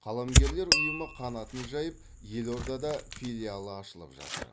қаламгерлер ұйымы қанатын жайып елордада филиалы ашылып жатыр